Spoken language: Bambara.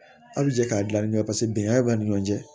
Aw bi jɛ k'a dilan ni ɲɔgɔn ye paseke bɛnkan b'a ni ɲɔgɔn cɛ